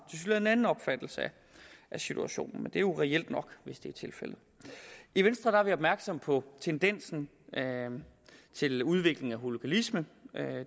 en anden opfattelse af situationen men det er jo reelt nok hvis det er tilfældet i venstre er vi opmærksomme på tendensen til udvikling af hooliganisme